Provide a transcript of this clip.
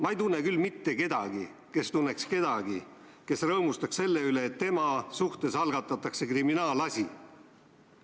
Ma ei tunne küll mitte kedagi, kes tunneks kedagi, kes rõõmustaks selle üle, kui tema suhtes algatatakse kriminaalasi.